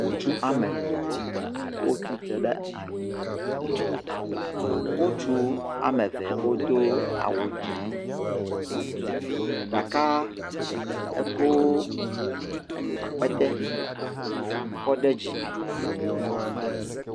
Ŋutsuwo ame etɔ̃ wotsi tre ɖe anyi. Ŋutsu ame eve wodo awu dzɛ̃. Ɖeka ekɔ akpetɛ kɔ ɖe dzime.